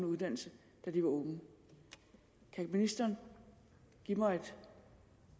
uddannelse da de var unge kan ministeren give mig et